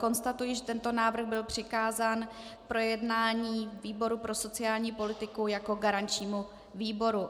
Konstatuji, že tento návrh byl přikázán k projednání výboru pro sociální politiku jako garančnímu výboru.